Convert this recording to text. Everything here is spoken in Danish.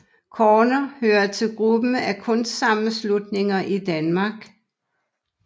Corner hører til gruppen af kunstnersammenslutninger i Danmark